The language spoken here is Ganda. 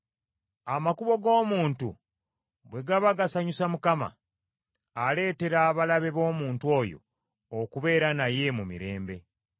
Amakubo g’omuntu bwe gaba gasanyusa Mukama , aleetera abalabe b’omuntu oyo okubeera naye mu mirembe.